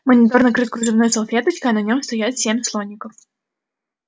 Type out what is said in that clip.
монитор накрыт кружевной салфеточкой а на нём стоят семь слоников